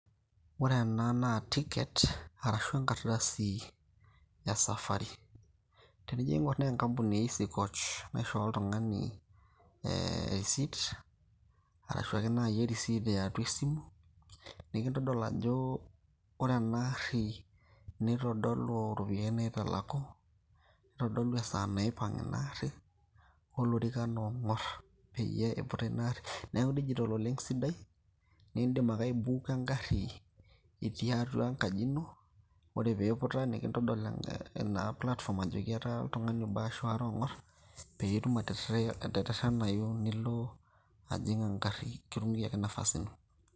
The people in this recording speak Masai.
Ore ena naa ticket arashu enkardasi esafari. Tenijo aing'or naa enkampuni e Easycoach naishoo oltung'ani e risit, arashu ake nai erisit eatua esimu, nikindodol ajo ore ena arri, nitodolu iropiyiani naitalaku. Nitodolu esaa naipang' inaarri, olorikan ong'or peyie iputa inaarri. Neeku digital oleng' sidai, nidim ake aibuuka egarri, itii atua enkaji ino, ore piputa, nintodol egarri ina platform ajo oltung'ani obo ashu aare ong'or, peyie itum aterrerrenayu nilo ajing' egarri kitung'uikiaki nafasi ino.